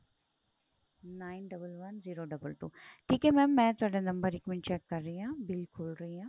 nine double one zero double two ਠੀਕ ਏ mam ਮੈਂ ਤੁਹਾਡਾ ਨੰਬਰ ਇੱਕ ਮਿੰਟ check ਕ਼ਰ ਰਹੀ ਆ bill ਖੋਲ ਰਹੀ ਆ